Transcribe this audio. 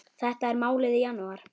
Þetta er málið í janúar.